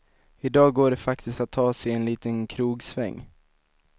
I dag går det faktiskt att ta sig en liten krogsväng.